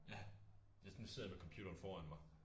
Ja hvis nu sidder jeg med computeren foran mig